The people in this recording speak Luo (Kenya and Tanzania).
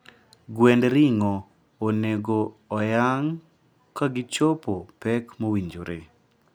Gwend ring'o onego oyang ka gichopo pek mowinjore